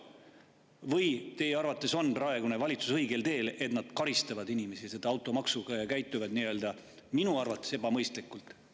Või on teie arvates praegune valitsus õigel teel, kui nad karistavad inimesi automaksuga ja käituvad – minu arvates – ebamõistlikult?